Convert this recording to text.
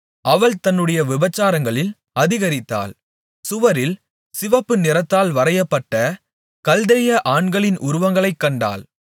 அவள் தன்னுடைய விபசாரங்களில் அதிகரித்தாள் சுவரில் சிவப்பு நிறத்தால் வரையப்பட்ட கல்தேய ஆண்களின் உருவங்களைக் கண்டாள்